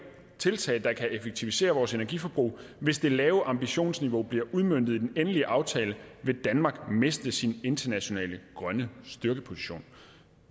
tiltag der kan effektivisere vores energiforbrug hvis det lave ambitionsniveau bliver udmøntet i den endelige aftale vil danmark miste sin internationale grønne styrkeposition